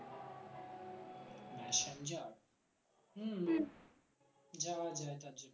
হম যাওয়া যায় .